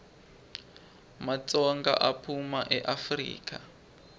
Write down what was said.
matsonga aphuma eafrika